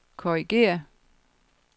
korrigér